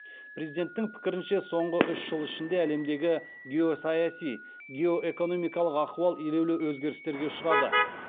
президенттің пікірінше соңғы үш жыл ішінде әлемдегі геосаяси геоэкономикалық ахуал елеулі өзгерістерге ұшырады